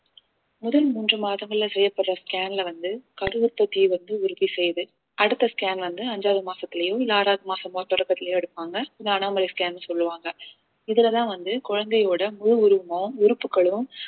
முதல் மூன்று மாதங்கள்ல செய்யப்படுற scan ல வந்து கருஉற்பத்திய வந்து உறுதி செய்யுது அடுத்த scan வந்து அஞ்சாவது மாசத்துலயும் இல்ல ஆறாவது மாசமும் தொடக்கத்திலையும் எடுப்பாங்க scan ன்னு சொல்லுவாங்க இதுலதான் வந்து குழந்தையோட முழு உருவமும் உறுப்புக்களும்